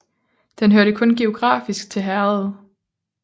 Den hørte kun geografisk til herredet